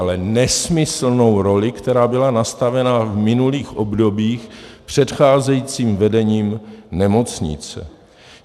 Ale nesmyslnou roli, která byla nastavena v minulých obdobích předcházejícím vedením nemocnice.